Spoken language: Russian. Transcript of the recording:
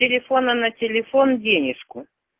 телефона на телефон денежку